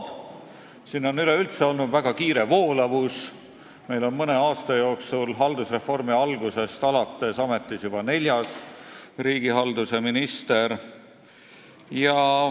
Meil on siin mõne aasta jooksul üleüldse väga kiire voolavus olnud: haldusreformi algusest arvates on ametis juba neljas riigihalduse minister.